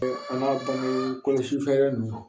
an ka bange kɔlɔsi fɛɛrɛ ninnu